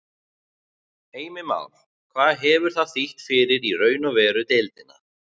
Heimir Már: Hvað hefur það þýtt fyrir í raun og veru deildina?